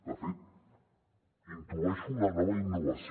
de fet intueixo una nova innovació